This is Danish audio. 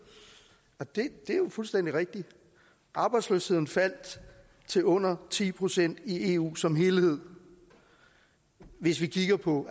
og det er jo fuldstændig rigtigt arbejdsløsheden faldt til under ti procent i eu som helhed hvis vi kigger på